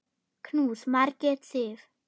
Knús, Margrét Sif.